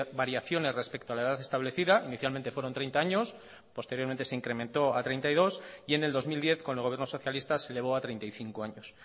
variaciones respecto a la edad establecida inicialmente fueron treinta años posteriormente se incrementó a treinta y dos y en el dos mil diez con el gobierno socialista se elevó a treinta y cinco años